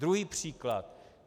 Druhý příklad.